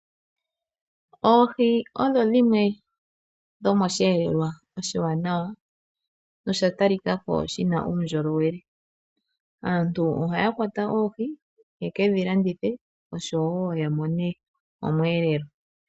Oohi odho dhimwe dhomo shiyelelwa oshiwanawa nosha talika ko shina uundjolowele, aantu ohaya kwata oohi ye kedhi landithe oshowo ya mone omweelelo.